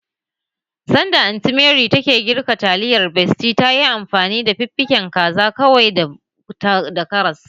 Sanda Anty Mary take girka taliyar besty tayi amfani da fiffiken kaza, ƙwai da karas